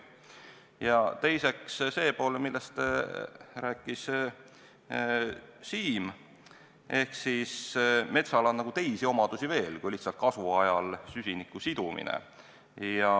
Ja teiseks see pool, millest rääkis Siim: metsal on teisi omadusi veel, ta pole lihtsalt kasvuajal süsiniku siduja.